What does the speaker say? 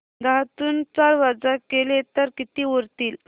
दहातून चार वजा केले तर किती उरतील